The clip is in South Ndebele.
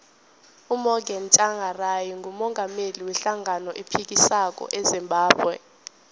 umorgan tshangari ngumungameli we hlangano ephikisako ezimbabwe